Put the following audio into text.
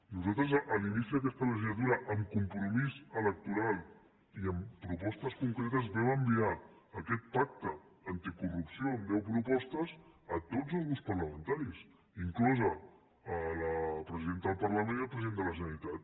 nosaltres a l’inici d’aquesta legislatura amb compromís electoral i amb propostes concretes vam enviar aquest pacte anticorrupció amb deu propostes a tots els grups parlamentaris inclosa la presidenta del parlament i el president de la generalitat